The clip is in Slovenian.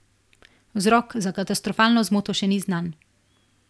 Vzrok za katastrofalno zmoto še ni znan.